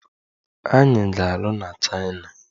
Anyị ga-alụ na Chaina.